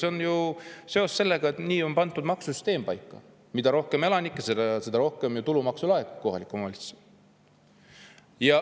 See on ju seetõttu nii, et maksusüsteem on pandud selliselt paika: mida rohkem elanikke, seda rohkem tulumaksu laekub kohalikule omavalitsusele.